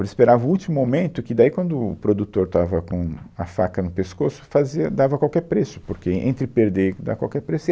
Eles esperavam o último momento, que daí quando o, o produtor estava com a faca no pescoço, fazia, dava qualquer preço, porque entre perder, e dar qualquer preço